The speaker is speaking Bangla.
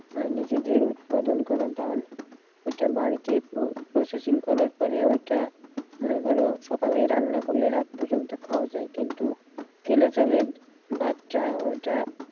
মানে নিজেদের উৎপাদন করা ধান ওটা বাড়িতে processing করার পরে ওইটা ধরো সকালে রান্না করলে রাত পর্যন্ত খাওয়া যায় কিন্তু কেনা চালে ভাতটা ওইটা,